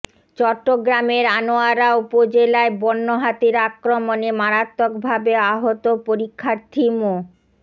চট্টগ্রামের আনোয়ারা উপজেলায় বন্য হাতির আক্রমণে মারাত্মকভাবে আহত পরীক্ষার্থী মো